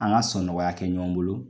An ka sɔnnɔgɔya kɛ ɲɔgɔn bolo